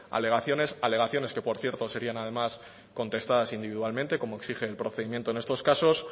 alegaciones alegaciones que por cierto serían además contestadas individualmente como exige el procedimiento en estos casos